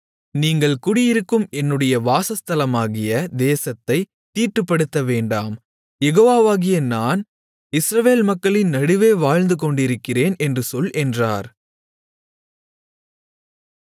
நீங்கள் குடியிருக்கும் என்னுடைய வாசஸ்தலமாகிய தேசத்தைத் தீட்டுப்படுத்தவேண்டாம் யெகோவாவாகிய நான் இஸ்ரவேல் மக்களின் நடுவே வாழ்ந்து கொண்டிருக்கிறேன் என்று சொல் என்றார்